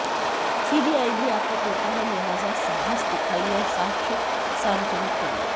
CBI भी आपका तोता है लिहाजा साहस दिखाइये और साक्ष्य सार्वजनिक करिए